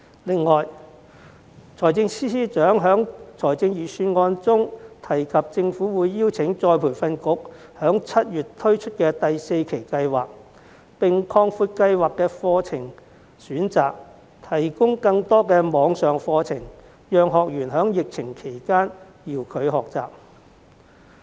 此外，司長在預算案中提到，政府會邀請僱員再培訓局於7月推出第四期計劃，並擴闊計劃的課程選擇，提供更多網上課程，讓學員在疫情期間遙距學習。